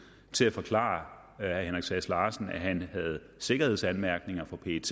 til at forklare herre henrik sass larsen at han havde sikkerhedsanmærkninger fra pet